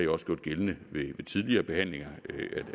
også gjort gældende ved tidligere behandlinger